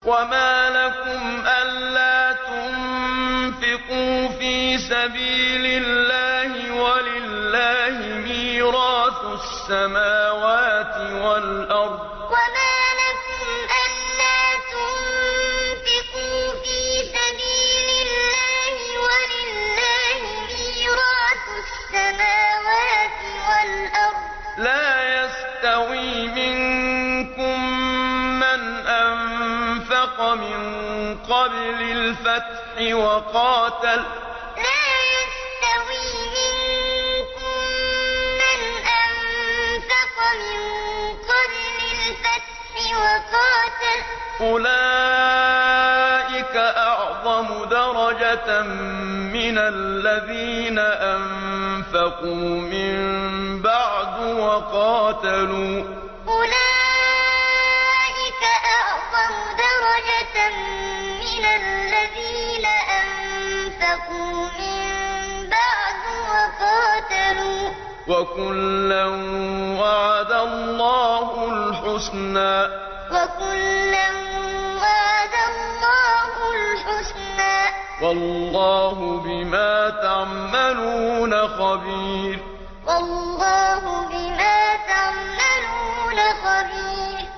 وَمَا لَكُمْ أَلَّا تُنفِقُوا فِي سَبِيلِ اللَّهِ وَلِلَّهِ مِيرَاثُ السَّمَاوَاتِ وَالْأَرْضِ ۚ لَا يَسْتَوِي مِنكُم مَّنْ أَنفَقَ مِن قَبْلِ الْفَتْحِ وَقَاتَلَ ۚ أُولَٰئِكَ أَعْظَمُ دَرَجَةً مِّنَ الَّذِينَ أَنفَقُوا مِن بَعْدُ وَقَاتَلُوا ۚ وَكُلًّا وَعَدَ اللَّهُ الْحُسْنَىٰ ۚ وَاللَّهُ بِمَا تَعْمَلُونَ خَبِيرٌ وَمَا لَكُمْ أَلَّا تُنفِقُوا فِي سَبِيلِ اللَّهِ وَلِلَّهِ مِيرَاثُ السَّمَاوَاتِ وَالْأَرْضِ ۚ لَا يَسْتَوِي مِنكُم مَّنْ أَنفَقَ مِن قَبْلِ الْفَتْحِ وَقَاتَلَ ۚ أُولَٰئِكَ أَعْظَمُ دَرَجَةً مِّنَ الَّذِينَ أَنفَقُوا مِن بَعْدُ وَقَاتَلُوا ۚ وَكُلًّا وَعَدَ اللَّهُ الْحُسْنَىٰ ۚ وَاللَّهُ بِمَا تَعْمَلُونَ خَبِيرٌ